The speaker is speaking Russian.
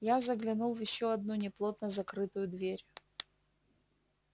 я заглянул в ещё одну неплотно закрытую дверь